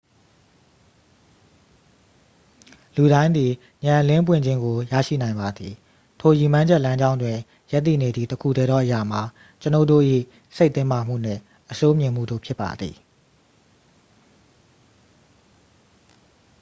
လူတိုင်းသည် ဉာဏ်အလင်းပွင့်ခြင်းကို ရရှိနိုင်ပါသည် ထိုရည်မှန်းချက်လမ်းကြောင်းတွင် ရပ်တည်နေသည့် တစ်ခုတည်းသောအရာမှာ ကျွန်ုပ်တို့၏ စိတ်တင်းမာမှုနှင့် အဆိုးမြင်မှုတို့ဖြစ်ပါသည်